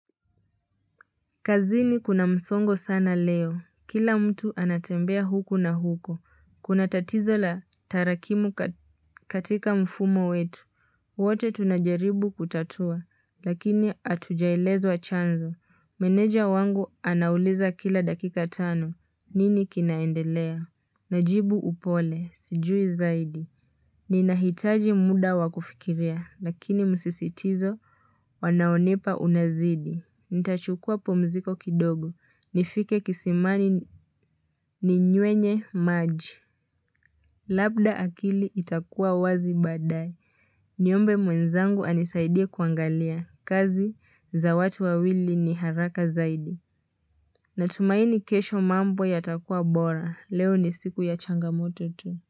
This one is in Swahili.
Kazini kuna msongo sana leo, kila mtu anatembea huko na huko, kuna tatizo la tarakimu katika mfumo wetu, wote tunajaribu kutatua, lakini hatujaelezwa chanzo, meneja wangu anauliza kila dakika tano, nini kinaendelea? Najibu upole, sijui zaidi, ni nahitaji muda wakufikiria, lakini msisitizo, wanaonipa unazidi. Nitachukua pumziko kidogo. Nifike kisimani ni nyuenye maji. Labda akili itakua wazi badae. Niombe mwenzangu anisaidie kuangalia. Kazi za watu wawili ni haraka zaidi. Natumaini kesho mambo yatakua bora. Leo ni siku ya changamoto tu.